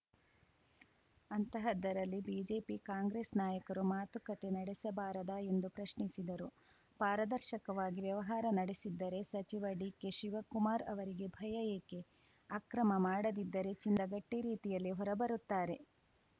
ಅಂತಹದ್ದರಲ್ಲಿ BJP Congress ನಾಯಕರು ಮಾತುಕತೆ ನಡೆಸಬಾರದಾ ಎಂದು ಪ್ರಶ್ನಿಸಿದರು ಪಾರದರ್ಶಕವಾಗಿ ವ್ಯವಹಾರ ನಡೆಸಿದ್ದರೆ ಸಚಿವ ಡಿಕೆಶಿವಕುಮಾರ್‌ ಅವರಿಗೆ ಭಯ ಏಕೆ ಅಕ್ರಮ ಮಾಡದಿದ್ದರೆ ಚಿನ್ನದ ಗಟ್ಟಿರೀತಿಯಲ್ಲಿ ಹೊರಬರುತ್ತಾರೆ